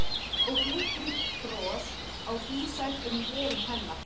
Og glittir í bros á dísæt um vörum hennar.